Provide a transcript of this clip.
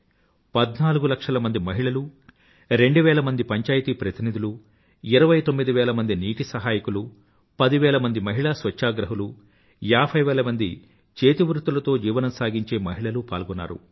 పధ్నాలుగు లక్షలమంది మహిళలు రెండువేలమంది పంచాయితీ ప్రతినిధులు ఇరవై తొమ్మిదివేల నీటి సహాయకులు పదివేల మహిళా స్వచ్ఛాగ్రహులు ఏభై వేలమంది చేతివృత్తులతో జీవనం సాగించే మహిళలు పాల్గొన్నారు